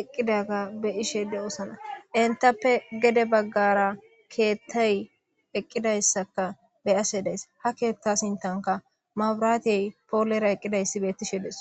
eqqidaga be ishe de'oosana intappe gede baggara keettay eqqidayssaka be ase days ha keetta sintanka maburaatiyey poolera eqqidayssi beettishe des.